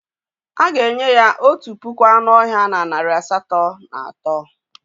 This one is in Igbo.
A ga-enye ya otu puku anụ ọhịa na narị asatọ na atọ.